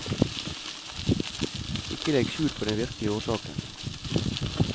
Ikke legg skjul på den virkelige årsaken.